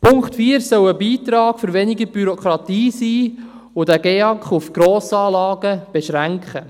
Der Punkt 4 soll ein Beitrag für weniger Bürokratie sein und den GEAK auf Grossanlagen beschränken.